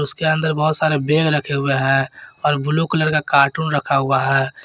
इसके अंदर बहुत सारे बेग रखे हुए है और ब्लू कलर का कार्टून रखा हुआ है।